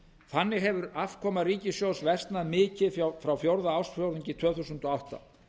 þannig hefur afkoma ríkissjóðs versnað mikið frá fjórða ársfjórðungi tvö þúsund og átta